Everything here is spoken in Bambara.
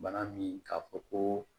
Bana min k'a fɔ ko